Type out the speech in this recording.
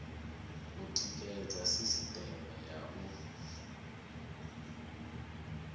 u tikedza sisiteme ya u